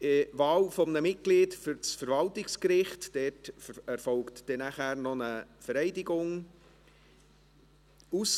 Auf die Wahl eines Mitglieds des Verwaltungsgerichts wird eine Vereidigung folgen.